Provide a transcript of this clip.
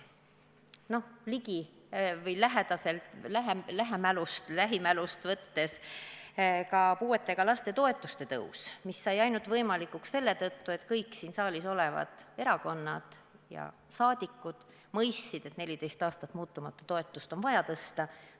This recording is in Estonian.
No kas või lähimälust võttes: ka puuetega laste toetuste tõus sai võimalikuks ainult selle tõttu, et kõik siin saalis olevad erakonnad ja saadikud mõistsid, et 14 aastat muutumatuna püsinud toetust on vaja tõsta.